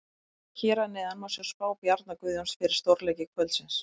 Hér að neðan má sjá spá Bjarna Guðjóns fyrir stórleiki kvöldsins.